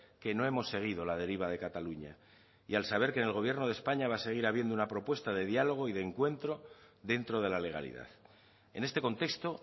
que no hemos seguido la deriva de cataluña y al saber que en el gobierno de españa va a seguir habiendo una propuesta de diálogo y de encuentro dentro de la legalidad en este contexto